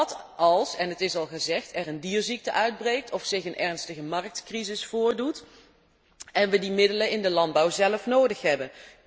Wat, en het is al gezegd, als er een dierziekte uitbreekt of zich een ernstige marktcrisis voordoet en we die middelen in de landbouw zelf nodig hebben?